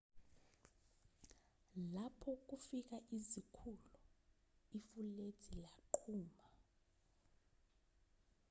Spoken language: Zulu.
lapho kufika izikhulu ifulethi yaqhuma